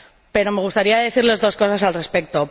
Pero me gustaría decirles dos cosas al respecto.